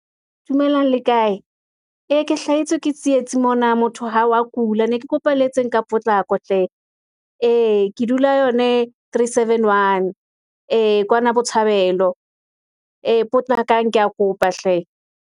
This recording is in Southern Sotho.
Dumelang le kae? Ee ke hlahetswe ke tsietsi mona, motho ha wa kula, ne ke kopa le etseng ka potlako hle ee, ke dula yone three, seven, one. Ee, kwana botshabelo, ee potlakang, ke ya kopa hle.